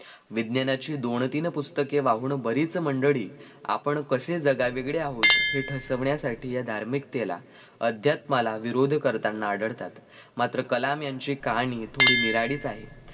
विज्ञानाची दोन तीन पुस्तके वाहून बरीच मंडळी आपण कसे जगावेगळे आहोत हे ठसवण्यासाठी या धार्मिकतेला, अध्यात्माला विरोध करताना आढळतात मात्र कलाम यांची कहाणी थोडीं निराळीच आहे